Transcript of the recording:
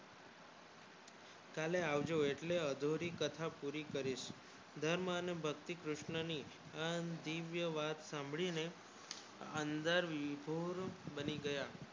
કાલે આવજો એટલે અઘોરી કથા પુરી કરીશ ધર્મને ભક્તિ કૃષ્ણ ને આ દિવ્ય વાત સાંભળીને અંદર વિભોર બની ગયા